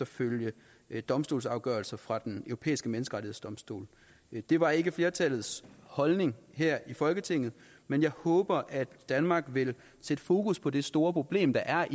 følger domstolsafgørelser fra den europæiske menneskerettighedsdomstol det var ikke flertallets holdning her i folketinget men jeg håber at danmark vil sætte fokus på det store problem det er